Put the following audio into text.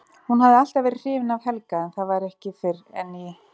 Hún hafði alltaf verið hrifin af Helga en það var ekki fyrr en í